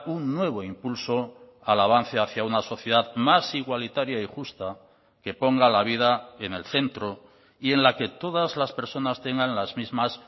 un nuevo impulso al avance hacia una sociedad más igualitaria y justa que ponga la vida en el centro y en la que todas las personas tengan las mismas